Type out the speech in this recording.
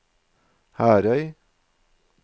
Herøy